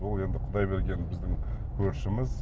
ол енді құдай берген біздің көршіміз